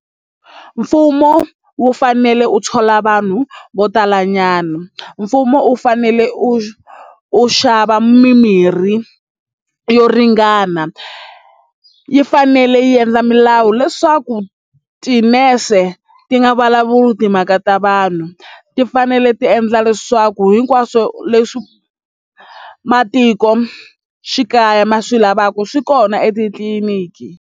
Mfumo wu fanele wu thola vanhu vo talanyana mfumo u fanele u u xava mimirhi yo ringana yi fanele yi endla milawu leswaku tinese ti nga vulavuli timhaka ta vanhu ti fanele ti endla leswaku hinkwaswo leswi matikoxikaya ma swi lavaka swi kona etitliliniki.